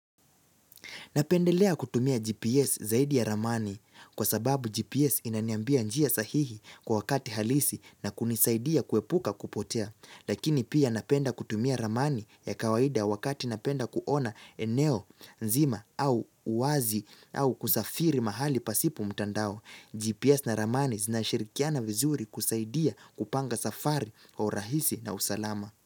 Napendelea kutumia GPS zaidi ya ramani kwa sababu GPS inaniambia njia sahihi kwa wakati halisi na kunisaidia kuepuka kupotea. Lakini pia napenda kutumia ramani ya kawaida wakati napenda kuona eneo, nzima au uwazi au kusafiri mahali pasipo mtandao. GPS na ramani zinashirikiana vizuri kusaidia kupanga safari kwa urahisi na usalama.